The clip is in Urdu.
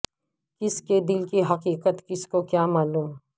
کسی کے دل کی حقیقت کسی کو کیا معلوم